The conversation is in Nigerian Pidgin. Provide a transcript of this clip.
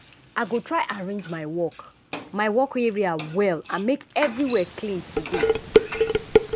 i go try arrange my work my work area well and make everywhere clean today.